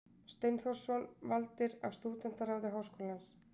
Steinþórsson, valdir af Stúdentaráði Háskólans.